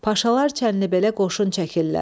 Paşalar Çənlibelə qoşun çəkirlər.